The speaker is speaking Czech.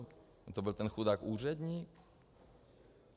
Nebo to byl ten chudák úředník?